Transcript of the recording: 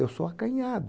Eu sou acanhado.